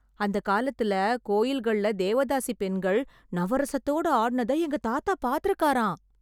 அந்தக் காலத்துல கோயில்களில் தேவதாசிப் பெண்கள் நவரசத்தோட ஆடுனதை எங்க தாத்தா பார்த்துருக்காராம்.